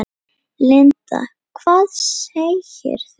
Linda: Hvað segirðu?